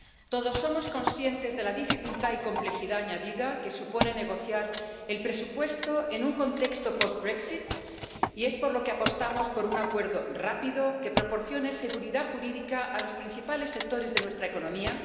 Todos somos conscientes de la dificultad y complejidad añadida que supone negociar el presupuesto en un contexto post y es por lo que apostamos por un acuerdo rápido, que proporcione seguridad jurídica a los principales sectores de nuestra economía.